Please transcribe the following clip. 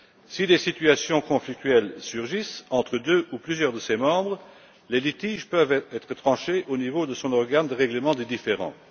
Si des situations conflictuelles surgissent entre deux ou plusieurs de ses membres, les litiges peuvent être tranchés au niveau de son organe de règlement des différends.